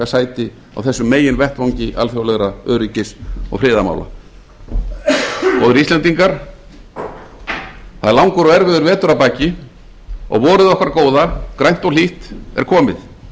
sæti á þessum meginvettvangi alþjóðlegra öryggis og friðarmála góðir íslendingar það er langur og erfiður vetur að baki o g vorið okkar góða grænt og hlýtt er komið